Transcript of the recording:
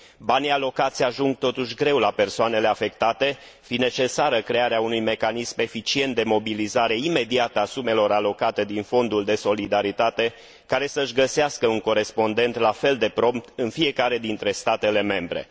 Banii alocați ajung, totuși, greu la persoanele afectate, fiind necesară crearea unui mecanism eficient de mobilizare imediată a sumelor alocate din Fondul de solidaritate, care să și găsească un corespondent la fel de prompt în fiecare dintre statele membre.